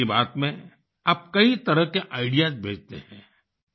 मन की बात में आप कई तरह के आईडीईएएस भेजते हैं